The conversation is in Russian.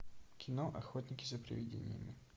кино охотники за привидениями